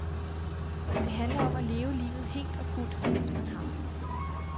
Det handler om at leve livet helt og fuldt, mens man har det.